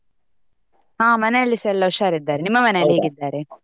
ಹಾ ಮನೆಯಲ್ಲಿಸಾ ಎಲ್ಲ ಹುಷಾರ್ ಇದ್ದಾರೆ, ನಿಮ್ಮ ಹೇಗಿದ್ದಾರೆ?